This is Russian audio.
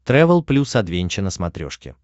трэвел плюс адвенча на смотрешке